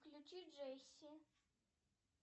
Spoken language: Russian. включи джесси